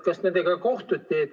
Kas kohtuti?